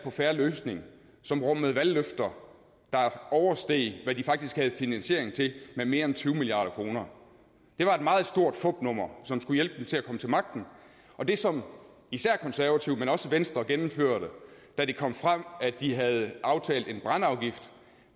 en fair løsning som rummede valgløfter der oversteg hvad de faktisk havde finansiering til med mere end tyve milliard kroner det var et meget stort fupnummer som skulle hjælpe dem til at komme til magten og det som især konservative men også venstre gennemførte da det kom frem at de havde aftalt en brændeafgift